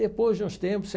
Depois de uns tempos, você